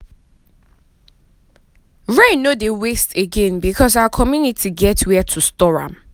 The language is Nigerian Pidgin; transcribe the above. rain no dey waste again because our community get way to store am.